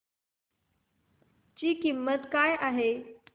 ची किंमत काय आहे